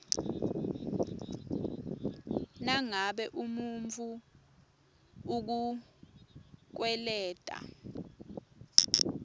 nangabe umuntfu ukukweleta